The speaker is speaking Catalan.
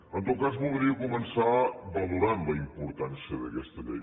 en tot cas voldria començar valorant la importància d’aquesta llei